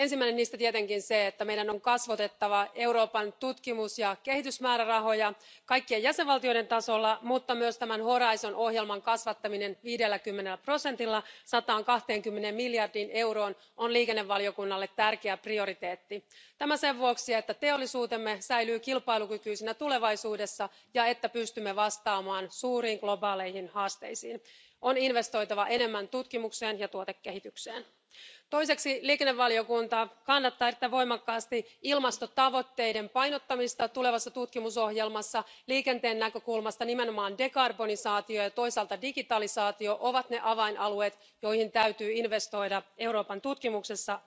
Ensimmäinen niistä tietenkin on se, että meidän on kasvatettava Euroopan tutkimus ja kehitysmäärärahoja kaikkien jäsenvaltioiden tasolla. Mutta myös Horisontti ohjelman kasvattaminen 50 prosentilla 120 miljardiin euroon on liikennevaliokunnalle tärkeä prioriteetti jotta teollisuutemme säilyy kilpailukykyisenä tulevaisuudessa ja jotta pystymme vastaamaan suuriin globaaleihin haasteisiin, on investoitava enemmän tutkimukseen ja tuotekehitykseen. Toiseksi liikennevaliokunta kannattaa erittäin voimakkaasti ilmastotavoitteiden painottamista tulevassa tutkimusohjelmassa. Liikenteen näkökulmasta nimenomaan hiilestä irtautuminen ja toisaalta digitalisaatio ovat ne avainalueet, joihin täytyy investoida Euroopan tutkimuksessa.